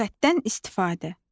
Lüğətdən istifadə.